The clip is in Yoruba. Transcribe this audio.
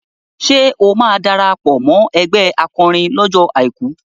Ṣé o máa darapọ̀ mọ́ ẹgbẹ́ akọrin lọ́jọ́ Àìkú?